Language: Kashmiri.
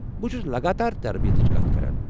بہٕ چھس لگاتار تربیتٕچ کتھ کران۔